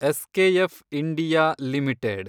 SKF India limited